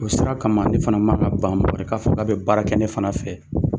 O sera kama ne fana man ka ban, mɔgɔ wɛrɛ k'a fɔ ka bɛ baara kɛ ne fana fɛ.